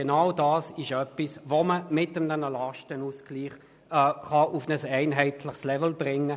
Genau das kann man mit einem Lastenausgleich auf ein einheitliches Level bringen.